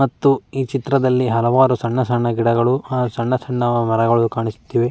ಮತ್ತು ಈ ಚಿತ್ರದಲ್ಲಿ ಹಲವಾರು ಸಣ್ಣ ಸಣ್ಣ ಗಿಡಗಳು ಆಹ್ ಸಣ್ಣ ಸಣ್ಣ ಮರಗಳು ಕಾಣಿಸುತ್ತಿವೆ.